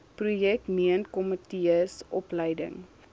projek meentkomitees opleiding